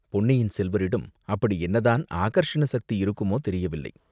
பொன்னியின் செல்வரிடம் அப்படி என்னதான் ஆகர்ஷண சக்தி இருக்குமோ, தெரியவில்லை!